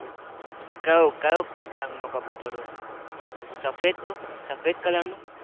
કયો કયો રંગ નું કબુતર હોય સફેદ સફેદ કલર નું